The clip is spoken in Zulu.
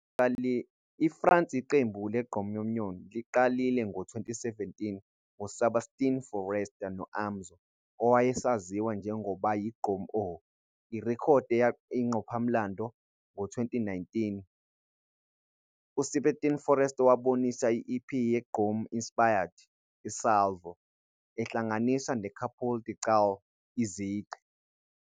IFrance, iqembu le-Gqommunion liqalile ngo-2017 nguSebastien Forrester no-Amzo, owayesaziwa njengoba yi-Gqom Oh!, irekhodi eyinqopha-mlando. Ngo-2019, uSebastien Forrester wabonisa i-EP ye-Iggom inspired, i-"Salvo", ehlanganisa ne-coupé-décalé, izigqi.